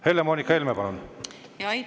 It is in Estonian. Helle-Moonika Helme, palun!